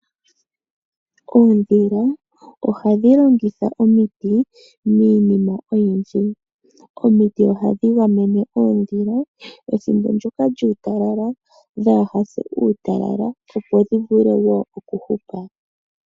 Oondhila ohadhi longitha omiti miinima oyindji. Omiti ohadhi gamene oondhila ethimbo lyuutalala dhaahase kuutalala opo dhi vule okuhupa.